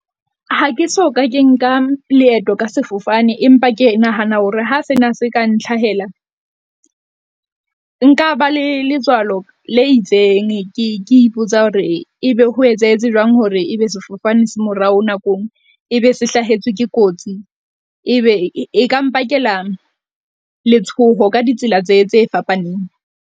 Ha ke so ka ke nka leeto ka sefofane, empa ke nahana hore ha sena se ka ntlhahela, nka ba le letswalo le itseng. Ke ipotsa hore ebe ho etsahetse jwang hore ebe sefofane se morao nakong, ebe se hlahetswe ke kotsi e be e ka mpakela letshoho ka ditsela tse tse fapaneng.